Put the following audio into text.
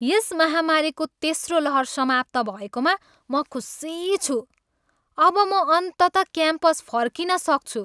यस महामारीको तेस्रो लहर समाप्त भएकोमा म खुसी छु। अब म अन्ततः क्याम्पस फर्किन सक्छु।